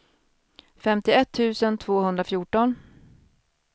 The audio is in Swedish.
femtioett tusen tvåhundrafjorton